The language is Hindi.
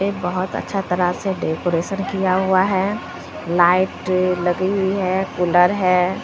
एक बहोत अच्छा तरह से डेकरैशन किया हुआ है लाइट लगी हुई है कूलर है।